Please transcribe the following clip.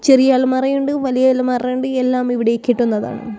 ചെറിയ അലമാറയുണ്ട് വലിയ അലമാറയുണ്ട് എല്ലാം ഇവിടെ കിട്ടുന്നതാണ്.